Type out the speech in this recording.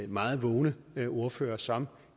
meget vågne ordførere som